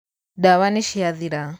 ndawa niciathira.